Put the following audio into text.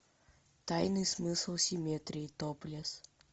тайный смысл симметрии топлес